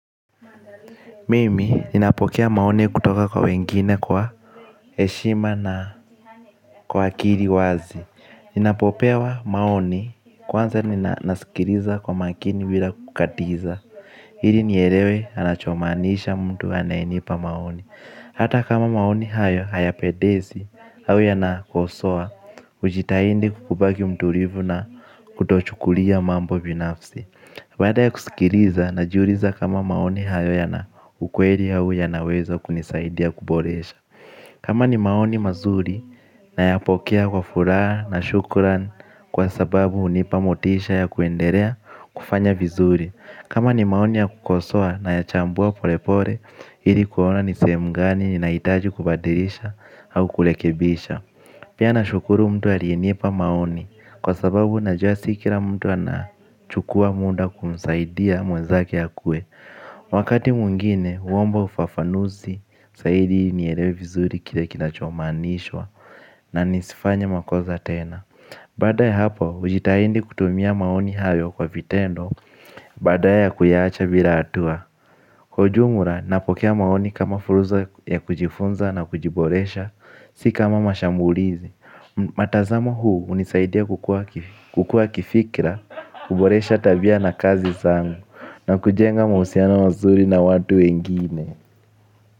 Mimi ninapokea maoni kutoka kwa wengine kwa eshima na kwa akiri wazi. Ninapopewa maoni kwanza ninasikiliza kwa makini bila kukatiza ili nielewe anachomaanisha mtu anayenipa maoni. Hata kama maoni hayo haya pendezi au yanakosoa hujitahidi kubaki mtulivu na kutochukulia mambo binafsi baada ya kusikiliza na jiuliza kama maoni hayo ya na ukweli au yanaweza kunisaidia kuboresha. Kama ni maoni mazuri na ya pokea kwa furaha na shukuran kwa sababu hunipa motisha ya kuendelea kufanya vizuri. Kama ni maoni ya kukosoa na ya chambua pole pole ili kuona nisehemu gani nina hitaji kubadirisha au kurekebisha. Pia na shukuru mtu aliyenipa maoni kwa sababu unajua si kila mtu ana chukua muda kumsaidia mwenzake akue. Wakati mwingine, huomba ufafanuzi, zaidi ili nielewe vizuri kile kina chomaanishwa na nisifanye makosa tena. Baada ya hapo, hujitahidi kutumia maoni hayo kwa vitendo baada ya kuiacha bila hatua. Kwa ujumla, napokea maoni kama fursa ya kujifunza na kujiboresha, si kama mashambulizi. Matazamo huu hunisaidia kukua kifikra. Kuboresha tabia na kazi zangu. Na kujenga mahusiano mazuri na watu wengine.